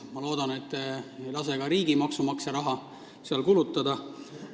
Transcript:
Ma loodan, et te ei lase sinna ka riigi maksumaksja raha kulutada.